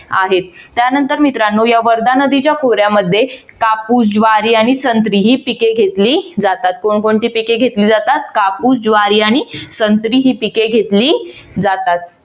आहेत त्यानंतर मित्रानो या वर्धा नदीच्या खोऱ्यामध्ये कापूस, ज्वारी आणि संत्री ही पिके घेतली जातात. कोण कोणती पिके घेतली जातात? कापूस, ज्वारी आणि संत्री ही पिके घेतली जातात.